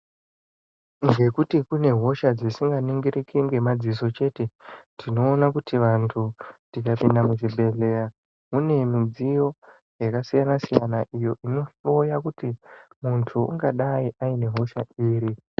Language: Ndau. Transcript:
Zvekuti kune hosha dzisinganingiriki. Nemadziso chte. Tinoone kuti vantu tikapinda muzvibhehleya ,mune mudziyo yakasiyana siyana iyo inohloya kuti muntu ungadai aine hosha iri.